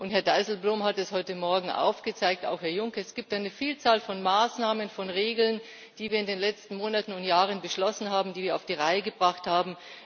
Herr Dijsselbloem hat es heute Morgen aufgezeigt, auch Herr Juncker Es gibt eine Vielzahl von Maßnahmen, von Regeln, die wir in den letzten Monaten und Jahren beschlossen haben, die wir auf die Reihe gebracht haben.